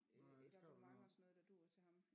Øh et abonnement og sådan noget der duer til ham